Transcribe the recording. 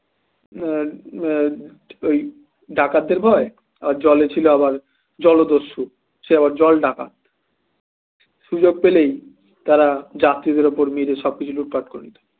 এ এ ডাকাতদের ভয় আর জলে ছিল আবার জলদস্যু সে আবার জলডাকাত সুযোগ পেলেই তারা যাত্রীদের উপর নিয়ে সবকিছু লুটপাট করে নিতে